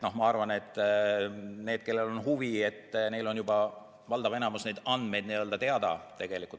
Ma arvan, et nendel, kellel on huvi, on juba valdavas enamikus võimalik neid andmeid teada saada.